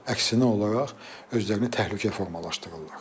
Əksinə olaraq özlərini təhlükə formalaşdırırlar.